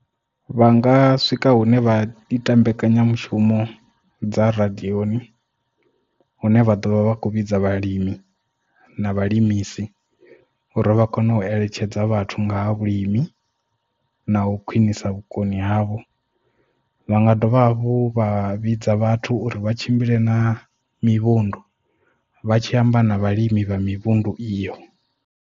Vha nga swika hune vha ita mbekanyamushumo dza radioni hune vha ḓo vha vha kho vhidza vhalimi na vhalimisi uri vha kone u eletshedza vhathu nga ha vhulimi na u khwinisa vhukoni havho vha nga dovha hafhu vha vhidza vhathu uri vha tshimbile na mivhundu vha tshi amba na vhalimi vha mivhundu iyo.